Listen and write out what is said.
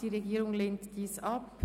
Die Regierung lehnt dieses ab.